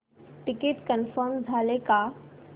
ticket confirm झाले का